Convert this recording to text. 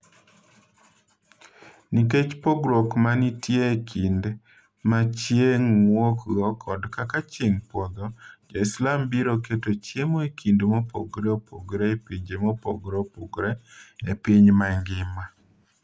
Nikech pogruok ma nitie e kinde ma chieng’ wuokgo kod kaka chieng’ podho, Jo-Islam biro keto chiemo e kinde mopogore opogore e pinje mopogore opogore e piny mangima.